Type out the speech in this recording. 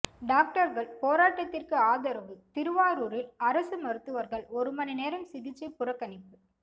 டாக்டர்கள் போராட்டத்திற்கு ஆதரவு திருவாரூரில் அரசு மருத்துவர்கள் ஒரு மணி நேரம் சிகிச்சை புறக்கணிப்பு